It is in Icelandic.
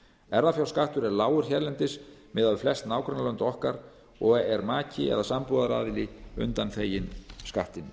erfðafjárskattur er lágur hérlendis miðað við flest nágrannalönd okkar og er maki eða sambúðaraðili undanþeginn skattinum